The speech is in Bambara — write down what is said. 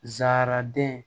Ra den